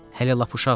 Hələ lap uşaqdır.